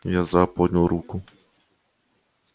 я за поднял руку